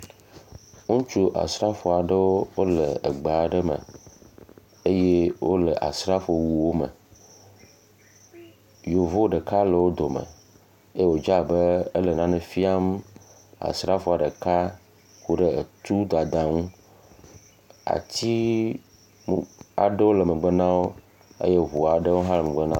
Ŋutsu asrafo aɖewo wole gbe aɖe me eye wole asrafowuwo me. Yevu ɖeka le wo dome eye wodze abe ele nane fiam asrafoa ɖeka ku ɖe tudada ŋu. Ati aɖewo le megbe na wo eye ŋu aɖewo hã le megbe na wo.